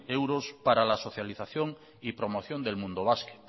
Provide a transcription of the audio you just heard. euros para la socialización y promoción del mundo basket